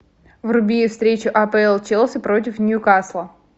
вруби встречу апл челси против ньюкасла